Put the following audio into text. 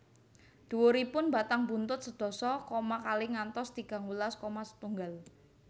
Dhuwuripun batang buntut sedasa koma kalih ngantos tigang welas koma setunggal